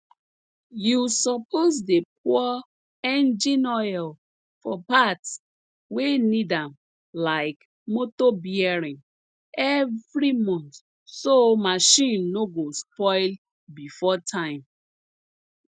u suppose dey pour engine oil for parts wey need am like motor bearing every month so marchin no go spoil before time